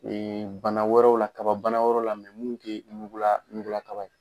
bana wɛrɛw la kababana wɛrɛw la minnu tɛ ɲugula ɲugulakaba ye.